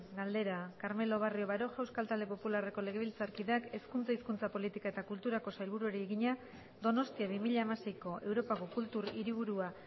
galdera carmelo barrio baroja euskal talde popularreko legebiltzarkideak hezkuntza hizkuntza politika eta kulturako sailburuari egina donostia bi mila hamaseiko europako kultur hiriburua